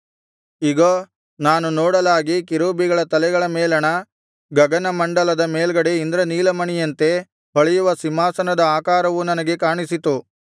ಇಗೋ ನಾನು ನೋಡಲಾಗಿ ಕೆರೂಬಿಗಳ ತಲೆಗಳ ಮೇಲಣ ಗಗನಮಂಡಲದ ಮೇಲ್ಗಡೆ ಇಂದ್ರನೀಲಮಣಿಯಂತೆ ಹೊಳೆಯುವ ಸಿಂಹಾಸನದ ಆಕಾರವು ನನಗೆ ಕಾಣಿಸಿತು